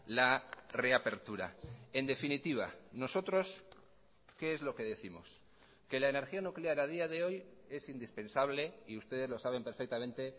la reapertura en definitiva nosotros qué es lo que décimos que la energía nuclear a día de hoy es indispensable y ustedes lo saben perfectamente